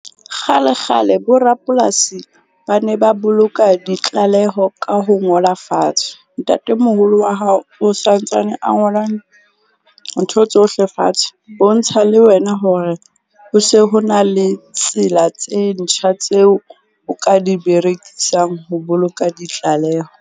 Kgale kgale borapolasi ba ne ba boloka ditlaleho ka ho ngola fatshe. Ntatemoholo wa hao o santsane a ngolang ntho tsohle fatshe. Ho ntsha le wena hore ho se ho na le tsela tse ntjha tseo o ka di berekisang ho boloka ditlaleho.